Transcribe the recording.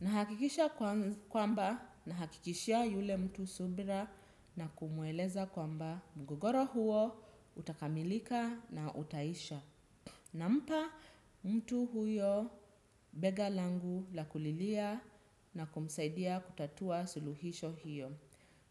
Nahakikisha kwamba nahakikishia yule mtu subira na kumueleza kwamba mgogoro huo utakamilika na utaisha. Nampa mtu huyo bega langu la kulilia na kumsaidia kutatua suluhisho hiyo.